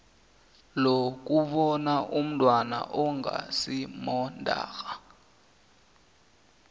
lokubona umntwana ongasimondarha